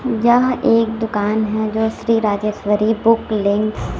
यह एक दुकान है जो श्री राजेश्वरी बुक लिंक्स --